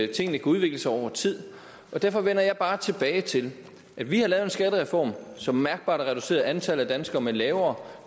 tingene kan udvikle sig over tid derfor vender jeg bare tilbage til at vi har lavet skattereform som mærkbart har reduceret antallet af danskere med lavere